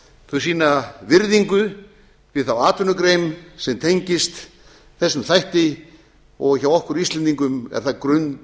þau sýna virðingu við þá atvinnugrein sem tengist þessum þætti og hjá okkur íslendingum er það